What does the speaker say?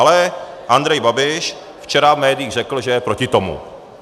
Ale Andrej Babiš včera v médiích řekl, že je proti tomu.